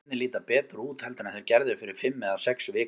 Hlutirnir líta betur út heldur en þeir gerðu fyrir fimm eða sex vikum.